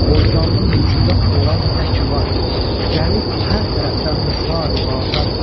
Qovzanlı mülkündə olan nə ki var, gəlir hər tərəfdən misali bazar.